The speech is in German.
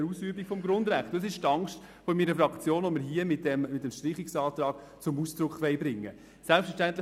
Das ist die Angst meiner Fraktion, die wir mit diesem Streichungsantrag zum Ausdruck bringen wollen.